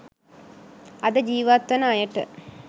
අද ජීවත් වන අයට